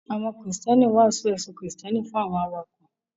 Àwọn Kristẹni ń wàásù ẹ̀sìn Kristẹni fún àwọn awakọ̀